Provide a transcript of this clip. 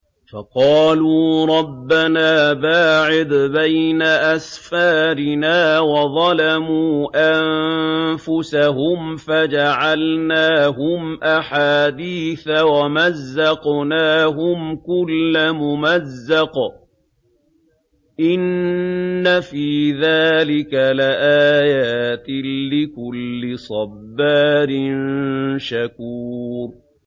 فَقَالُوا رَبَّنَا بَاعِدْ بَيْنَ أَسْفَارِنَا وَظَلَمُوا أَنفُسَهُمْ فَجَعَلْنَاهُمْ أَحَادِيثَ وَمَزَّقْنَاهُمْ كُلَّ مُمَزَّقٍ ۚ إِنَّ فِي ذَٰلِكَ لَآيَاتٍ لِّكُلِّ صَبَّارٍ شَكُورٍ